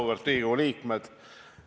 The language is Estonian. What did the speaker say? Auväärt Riigikogu liikmed!